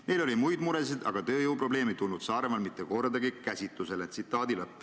Nendel oli muid muresid, aga tööjõuprobleem ei tulnud Saaremaal mitte kordagi käsitlusele.